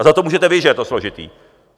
A za to můžete vy, že je to složité.